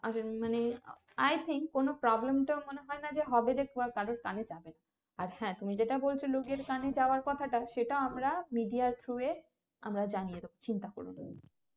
আহ মানে i think কোনো প্রব্লেমটা মনে হয় না যে কারোর কানে যাবে আর হ্যাঁ তুমি যেটা বলছো লোক যেটা কানে যাওয়ার কথাটা সেটা আমরা media through এ আমরা আমরা জানিয়ে দেব চিন্তা করো না